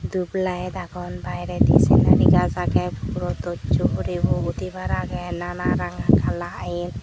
dup layed agon bairedi senari gaaj agey puro dosso huribo udibar agey nanan ranga kala yan.